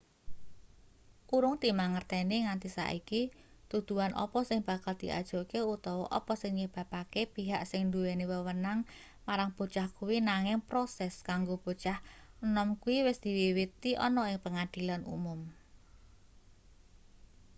urung dimangerteni nganti saiki tuduhan apa sing bakal diajokke utawa apa sing nyebabake pihak sing nduweni wewenang marang bocah kuwi nanging proses kanggo bocah nom kuwi wis diwiwiti ana ing pengadilan umum